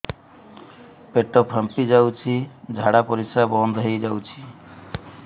ପେଟ ଫାମ୍ପି ଯାଉଛି ଝାଡା ପରିଶ୍ରା ବନ୍ଦ ହେଇ ଯାଉଛି